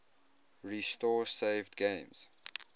restore saved games